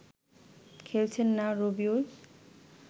খেলছেন না রবিউল